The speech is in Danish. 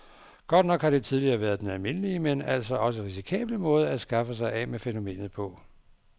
Godt nok har det tidligere været den almindelige, men altså også risikable måde at skaffe sig af med fænomenet på.